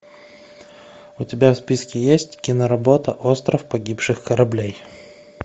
у тебя в списке есть киноработа остров погибших кораблей